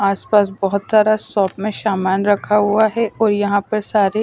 आसपास बहुत सारा शॉप में सामान रखा हुआ है और यहाँ पर सारे--